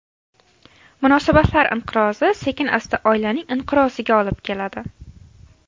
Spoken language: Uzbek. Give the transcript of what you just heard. Munosabatlar inqirozi sekin-asta oilaning inqiroziga olib keladi.